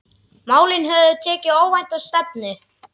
Málin höfðu tekið óvænta stefnu.